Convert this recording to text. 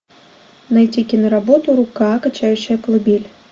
найти киноработу рука качающая колыбель